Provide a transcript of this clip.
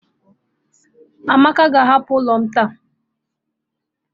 Amaka ga-ahapụ ụlọ m taa.